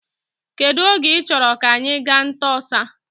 Kedụ oge i chọrọ ka anyị gaa nta ọsa.